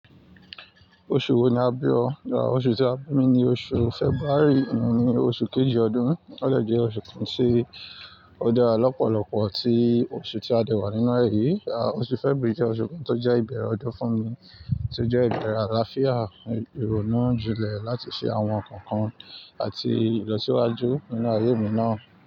Oṣù wo ni a bí o? Oṣù tí a bí mi ni oṣù February, òní oṣù kejì ọdún. Ó jẹ́ oṣù kan tí ó dára lọ́pọ̀lọpọ̀ tí oṣù tí a dé wà nínú e yìí. Oṣù February jẹ́ oṣù kan tó jẹ́ ìbẹ̀rẹ̀ ọdún fún mi, tí ó jẹ́ ìbẹ̀rẹ̀ àlàáfíà, ìrònú jile láti ṣe àwọn nǹkan kan àti ìlọsíwájú nínú ayé mi náà.